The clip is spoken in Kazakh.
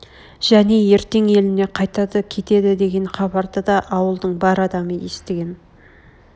және ертең еліне қайтады кетеді деген хабарды да ауылдың бар адамы естіген